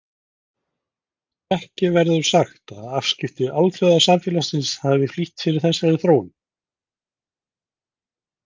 Ekki verður sagt að afskipti alþjóðasamfélagsins hafi flýtt fyrir þessari þróun.